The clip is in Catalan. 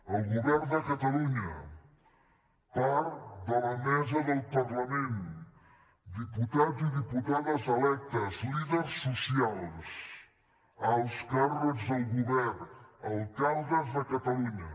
el govern de catalunya part de la mesa del parlament diputats i diputades electes líders socials alts càrrecs del govern alcaldes de catalunya